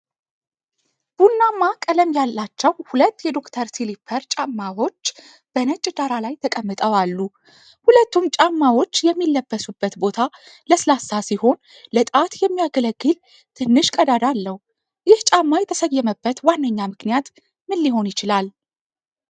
ቡናማ ቀለም ያላቸው ሁለት የዶክተር ስሊፐር ጫማዎች በነጭ ዳራ ላይ ተቀምጠው አሉ። ሁለቱም ጫማዎች የሚለበሱበት ቦታ ለስላሳ ሲሆን፣ ለጣት የሚያገለግል ትንሽ ቀዳዳ አለው። ይህ ጫማ የተሰየመበት ዋነኛ ምክንያት ምን ሊሆን ይችላል?